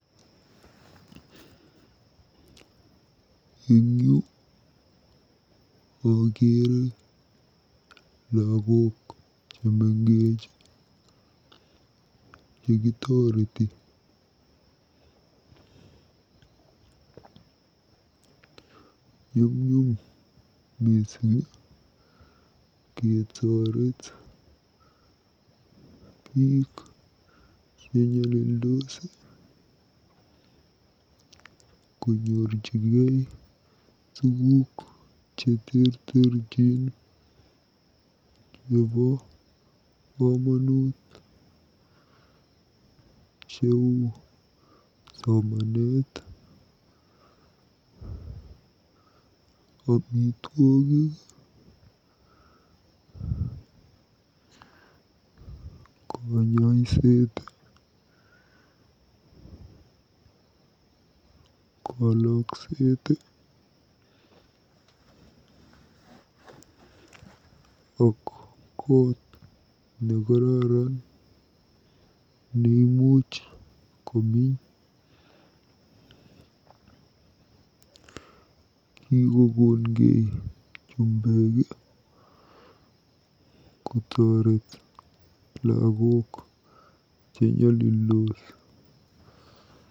Eng yu akeere lagok chemengech chekotoreti. NYUMNYUM MISING KETOREET BIIK CHENYOLILDOS KONYORJIGEI TUGUUK CHETERTERCHIN CHEBO KOMONUT CHEU SOMANET, KANYoiset, kalokset ak koot nekararn neimuch kominy. Kikokongei chumbek kotoreet lagok chenyalildos.